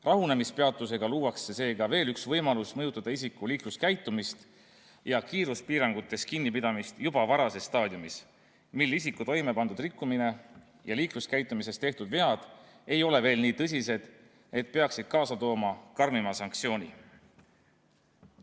Rahunemispeatusega luuakse seega veel üks võimalus mõjutada isiku liikluskäitumist ja kiiruspiirangutest kinnipidamist juba varases staadiumis, mil isiku toimepandud rikkumised ja liikluskäitumises tehtud vead ei ole veel nii tõsised, et peaksid kaasa tooma karmima sanktsiooni.